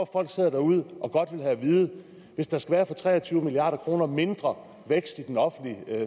folk sidder derude og godt vil have at vide at hvis der skal være for tre og tyve milliard kroner mindre vækst i den offentlige